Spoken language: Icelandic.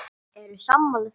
Eru sammála því?